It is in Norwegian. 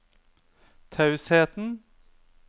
tausheten